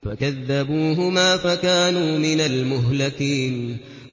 فَكَذَّبُوهُمَا فَكَانُوا مِنَ الْمُهْلَكِينَ